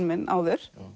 minn áður